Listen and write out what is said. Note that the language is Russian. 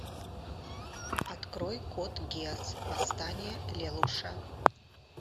открой код гиасс восстание лелуша